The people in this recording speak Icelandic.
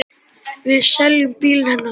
Við seljum bílinn hennar þá.